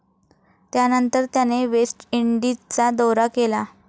त्यानंतर त्याने वेस्ट इंडिजचा दौरा केला